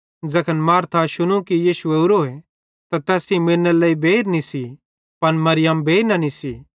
ज़ैखन मार्था शुनू कि यीशु ओरोए तै तैस सेइं मिलनेरे लेइ बेइर निस्सी पन मरियम बेइर न निस्सी